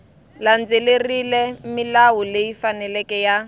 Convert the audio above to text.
landzelerile milawu leyi faneleke ya